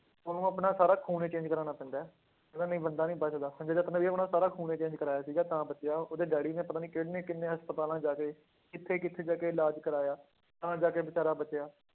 ਉਹਨੂੰ ਆਪਣਾ ਸਾਰਾ ਖ਼ੂਨ ਹੀ change ਕਰਵਾਉਣਾ ਪੈਂਦਾ ਹੈ, ਕਹਿੰਦਾ ਨਹੀਂ ਬੰਦਾ ਨਹੀਂ ਬਚਦਾ ਸੰਜੇ ਦੱਤ ਨੇ ਵੀ ਆਪਣਾ ਸਾਰਾ ਖ਼ੂਨ ਹੀ change ਕਰਵਾਇਆ ਸੀਗਾ ਤਾਂ ਬਚਿਆ ਉਹ ਉਹਦੇ ਡੈਡੀ ਨੇ ਪਤਾ ਨੀ ਕਿੰਨੇ ਕਿੰਨੇ ਹਸਪਤਾਲਾਂ ਚ ਜਾ ਕੇ ਕਿੱਥੇ ਕਿੱਥੇ ਜਾ ਕੇ ਇਲਾਜ ਕਰਵਾਇਆ, ਤਾਂ ਜਾ ਕੇ ਬੇਚਾਰਾ ਬਚਿਆ,